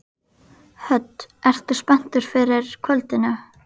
Hödd: Ertu spenntur fyrir kvöldinu?